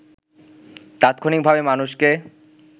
তাৎক্ষণিক ভাবে মানুষকে